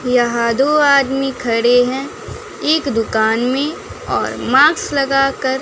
यहां दो आदमी खड़े हैं एक दुकान में और माक्स लगा कर--